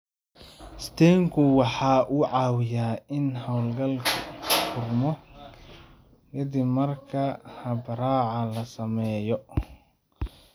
stent-ku waxa uu caawiyaa in halbowlegu furmo ka dib marka habraaca la sameeyo.